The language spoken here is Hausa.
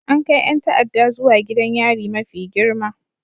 An kai 'yan ta'adda zuwa gidan yari mafi girma